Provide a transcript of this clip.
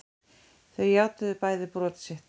Þau játuðu bæði brot sitt